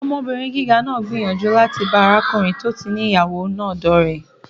Ọmọbìnrin gíga náà gbìyànjú láti bá arákùnrin tó ti ní ìyàwó náà dọ́ọ̀rẹ́